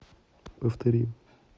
повтори